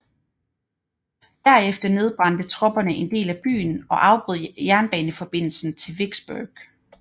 Derefter nedbrændte tropperne en del af byen og afbrød jernbaneforbindelsen til Vicksburg